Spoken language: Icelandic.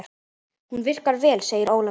Hún virkar vel, segir Ólafur.